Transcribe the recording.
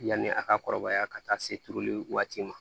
Yanni a ka kɔrɔbaya ka taa se turuli waati ma